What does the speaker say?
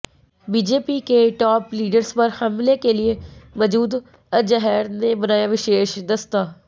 BJP के top leaders पर हमले के लिए मसूद अजहर ने बनाया विशेष दस्ता